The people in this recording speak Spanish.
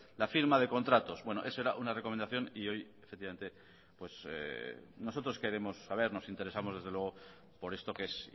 la firma de contratos bueno eso era una recomendación y hoy efectivamente nosotros queremos saber nos interesamos desde luego por esto que es